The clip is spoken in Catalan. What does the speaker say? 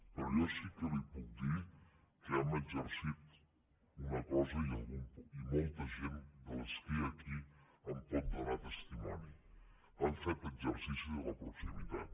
però jo sí que li puc dir que hem exercit una cosa i molta gent de la que hi ha aquí en pot donar testimoni hem fet exercici de la proximitat